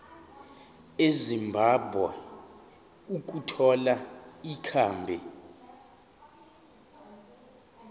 ezimbabwe ukuthola ikhambi